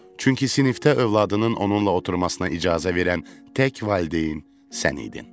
Çünki sinifdə övladının onunla oturmasına icazə verən tək valideyn sən idin.